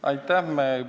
Aitäh!